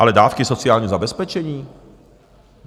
Ale dávky sociálního zabezpečení?